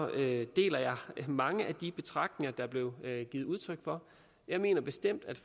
at jeg deler mange af de betragtninger der blev givet udtryk for jeg mener bestemt at